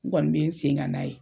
N kɔni be n sen kan n'a ye.